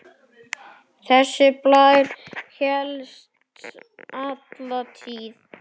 Þessi blær hélst alla tíð.